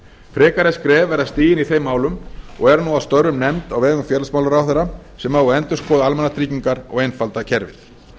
frekari skref verða stigin í þeim málum og er nú að störfum nefnd á vegum félagsmálaráðherra sem á að endurskoða almannatryggingar og einfalda kerfið